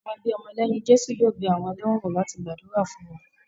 Àwọn ẹbí ọmọ lẹ́yìn Jésù yóò bẹ àwọn ẹlẹ́wọ̀n wò láti gbàdúrà fún wọn